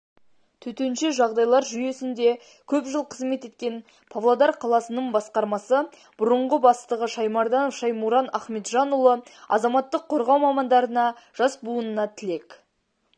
төтенше жағдайлар жүйесінде көп жыл қызмет еткен павлодар қаласының басқармасы бұрынғы бастығы шаймарданов шаймуран ахметжанұлы азаматтық қорғау мамандарына жас буынына тілек